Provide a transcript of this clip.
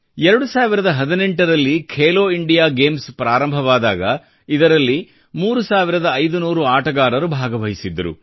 2018 ರಲ್ಲಿ Khelo India games ಪ್ರಾರಂಭವಾದಾಗ ಇದರಲ್ಲಿ 3500 ಆಟಗಾರರು ಭಾಗವಹಿಸಿದ್ದರು